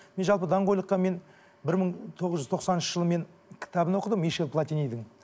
мен жалпы даңқойлыққа мен бір мың тоғыз жүз тоқсаныншы жылы мен кітабын оқыдым мишель платинидің